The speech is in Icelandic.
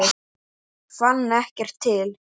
Fann ekkert til.